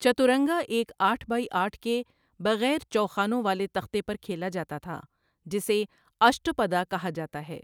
چتورنگا ایک آٹھ بائی آٹھ کے بغیر چوخانوں والے تختے پر کھیلا جاتا تھا، جسے اشٹاپدا کہا جاتا ہے۔